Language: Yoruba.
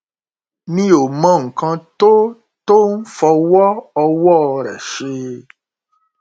mi ò mọ nǹkan tó tó ń fọwọ ọwọ rẹ ṣe